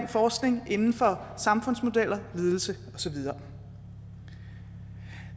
forskning inden for samfundsmodeller ledelse og så videre